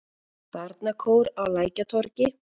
Barnakór á Lækjartorgi.